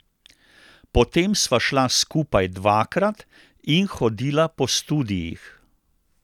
Potem sva šla skupaj dvakrat in hodila po studiih.